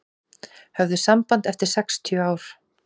Höfðu samband eftir sextíu ár